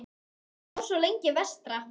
Hann bjó svo lengi vestra.